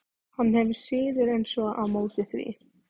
Hann hefur síður en svo á móti því.